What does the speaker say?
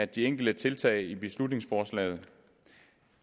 de enkelte tiltag i beslutningsforslaget